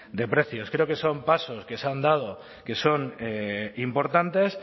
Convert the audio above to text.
de precios creo que son pasos que se han dado que son importantes